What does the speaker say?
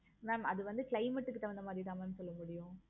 mam அது வந்து climate க்கு தகுந்த மாதிரி தான் mam சொல்ல முடியும்.